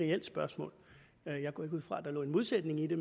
reelt spørgsmål jeg går ikke ud fra at at der lå en modsætning i det